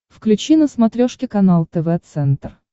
включи на смотрешке канал тв центр